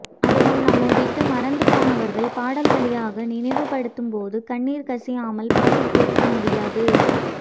அதுவும் நம்மை விட்டு மறைந்து போனவர்கள் பாடல் வழியாக நினைவுபடுத்தப்படும் போது கண்ணீர் கசியாமல் பாட்டைக் கேட்க முடியாது